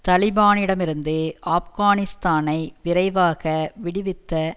தலிபானிடமிருந்து ஆப்கானிஸ்தானை விரைவாக விடுவித்த